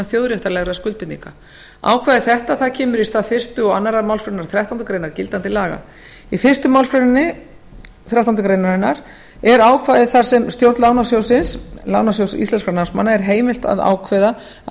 þjóðréttarlegra skuldbindinga ákvæði þetta kemur í stað fyrstu og annarrar málsgreinar þrettándu greinar gildandi laga í fyrstu málsgreinar þrettándu greinar gildandi laga er ákvæði þar sem stjórn lánasjóðs íslenskra námsmanna er heimilt að ákveða að